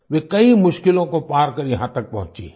वे कई मुश्किलों को पार कर यहाँ तक पहुँची हैं